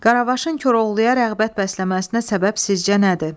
Qaravaşın Koroğluya rəğbət bəsləməsinə səbəb sizcə nədir?